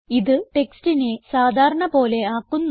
ഇത് ടെക്സ്റ്റിനെ സാധാരണ പോലെ ആക്കുന്നു